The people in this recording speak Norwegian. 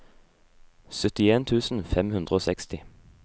syttien tusen fem hundre og seksti